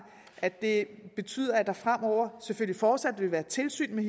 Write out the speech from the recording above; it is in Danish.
at det betyder at der fremover selvfølgelig fortsat vil være tilsyn med